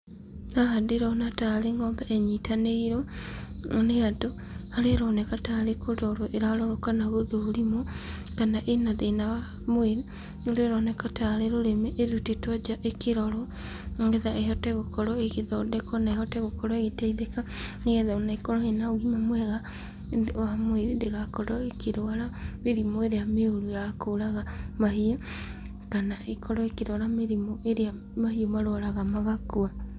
Haha ndĩrona tarĩ ng'ombe ĩnyitanĩirwo nĩ andũ, harĩa ĩronekana tarĩ kũrorwo ĩrarorwo kana gũthũrimwo, kana ĩna thĩna wa mwĩrĩ, kũrĩa ĩroneka tarĩ rũrĩmĩ ĩrutĩtwo nja ĩkĩrorwo, nĩgetha ĩhote gũkorwo ĩgĩthondekwo na ĩhote gũkorwo ĩgĩteithĩka, nĩgetha ĩkorwo ĩna ũgima mwega wa mwĩrĩ, ndĩgakorwo ĩkĩrwara, mĩrimũ ĩrĩa mĩũru ya kũraga mahiũ, kana ĩkorwo ĩkĩrwara mĩrimũ ĩrĩa mahiũ marwaraga magakua.